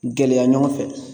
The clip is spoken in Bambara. Gɛlɛya ɲɔgɔn fɛ